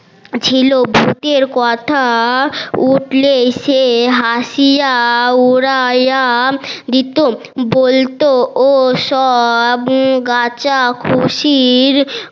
ছিল ভুতের কথা উঠলেই সে হাসিয়া উড়াইয়া দিতো বলতো ওসব